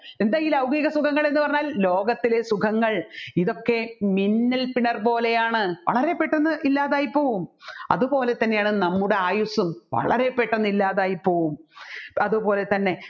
എന്താ ഈ ലൗകിക സുഖങ്ങൾ എന്ന് പറഞ്ഞാൽ ലോകത്തിലെ സുഖങ്ങൾ ഇതൊക്കെ മിന്നൽ പിണർ പോലെയാണ് വളരെപ്പെട്ടെന്ന് ഇല്ലാതായിപ്പോവും അതുപോലെ തന്നെയാണ് നമ്മുടെ ആയുസ്സും വളരെ പെട്ടെന്ന് ഇല്ലാതായിപ്പോവും അതുപോലെത്തന്നെ